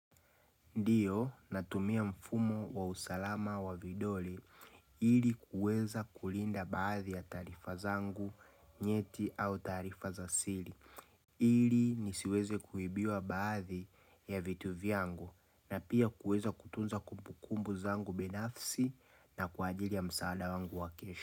Ndiyo, natumia mfumo wa usalama wa vidole ili kuweza kulinda baadhii ya tarifa zangu nyeti au tarifa za sili. Ili nisiweze kuibiwa baadhi ya vitu vyangu na pia kuweza kutunza kumpukumbu zangu binafsi na kuajili ya msaada wangu wa kesho.